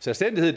selvstændighed